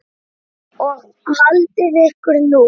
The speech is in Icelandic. Og haldið ykkur nú.